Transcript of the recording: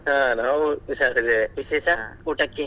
ಹಾ ನಾವು ಹುಷಾರಿದ್ದೇವೆ, ಊಟಕೆ?